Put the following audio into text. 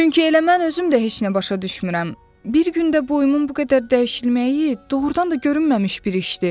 Çünki elə mən özüm də heç nə başa düşmürəm, bir gündə boyumun bu qədər dəyişilməyi doğurdan da görünməmiş bir işdir.